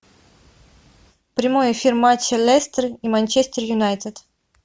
прямой эфир матча лестер и манчестер юнайтед